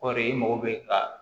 O de i mago bɛ ka